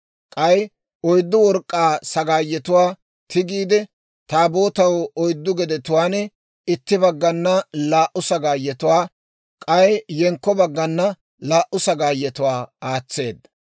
K'ay oyddu work'k'aa sagaayetuwaa tigiide, Taabootaw oyddu gedetuwaan, itti baggana laa"u sagaayetuwaa, k'ay yenkko baggana laa"u sagaayetuwaa aatseedda.